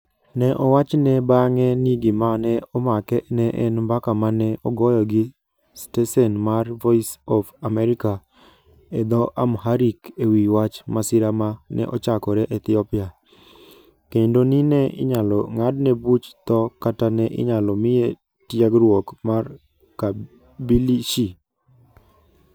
Ne owachne bang'e ni gima ne omake ne en mbaka ma ne ogoyo gi stesen mar Voice of America e dho Amharic e wi wach masira ma ne ochakore Ethiopia, kendo ni ne inyalo ng'adne buch tho kata ne inyalo miye tiegruok mar "kabilishi".